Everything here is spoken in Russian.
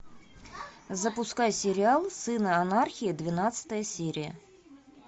запускай сериал сыны анархии двенадцатая серия